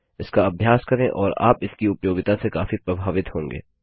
इसका अभ्यास करें और आप इसकी उपयोगिता से काफी प्रभावित होंगे